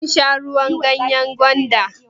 Kin sha ruwan ganyan gwanda?